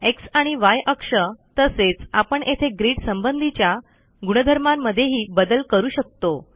x आणि य अक्ष तसेच आपण येथे ग्रीड संबंधीच्या गुणधर्मांमध्येही बदल करू शकतो